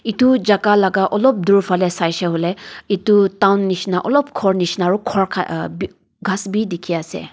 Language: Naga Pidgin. etu jaga laga olop dur fale saise koiley etu town nisna alop ghor nisna aru ghor khan a ghass bhi dikhi ase.